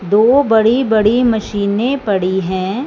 दो बड़ी बड़ी मशीनें पड़ी हैं।